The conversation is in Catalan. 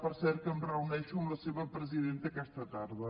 per cert que em reuneixo amb la seva presidenta aquesta tarda